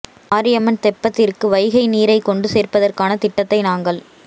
மாரியம்மன் தெப்பத்திற்கு வைகை நீரை கொண்டு சேர்ப்பதற்கான திட்டத்தை நாங்கள்